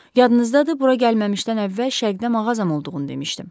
Yadınızdadır bura gəlməmişdən əvvəl şərqdə mağazam olduğunu demişdim.